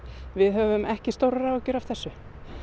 við höfum ekki stórar áhyggjur af þessu